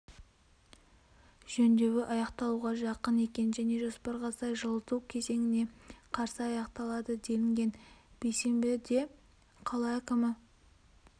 жөндеуі аяқталуға жақын екен және жоспарға сай жылыту кезеңіне қарсы аяқталады делінген бейсенбіде қала әкімі